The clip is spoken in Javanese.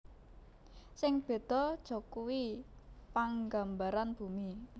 Sing béda jakuwi panggambaran bumi